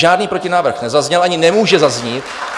Žádný protinávrh nezazněl, ani nemůže zaznít.